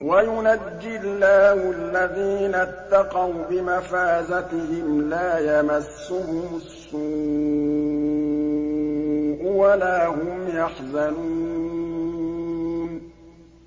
وَيُنَجِّي اللَّهُ الَّذِينَ اتَّقَوْا بِمَفَازَتِهِمْ لَا يَمَسُّهُمُ السُّوءُ وَلَا هُمْ يَحْزَنُونَ